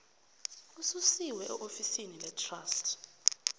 ususiwe eofisini letrust